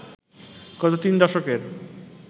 গত তিন দশকের